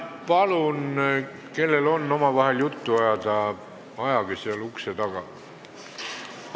Palun, kellel on vaja omavahel juttu ajada, tehke seda ukse taga!